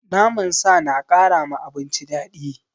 Naman sa na kara ma abinci daɗi.